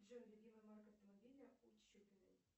джой любимая марка автомобиля у чупиной